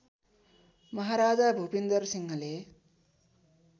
महाराजा भुपिन्दर सिंहले